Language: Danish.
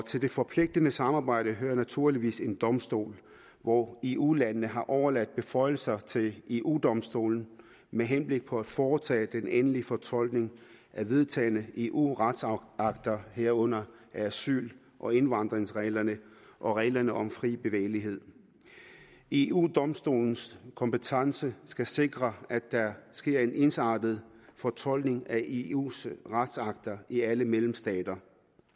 til det forpligtende samarbejde hører naturligvis en domstol og eu landene har overladt beføjelser til eu domstolen med henblik på at foretage den endelige fortolkning af vedtagne eu retsakter herunder asyl og indvandringsreglerne og reglerne om fri bevægelighed eu domstolens kompetence skal sikre at der sker en ensartet fortolkning af eus retsakter i alle medlemsstater